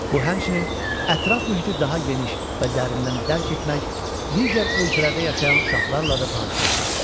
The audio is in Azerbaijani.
Bu həmçinin ətraf mühiti daha geniş və dərindən dərk etmək, digər ölkələrdə yaşayan uşaqlarla da tanışlıqdır.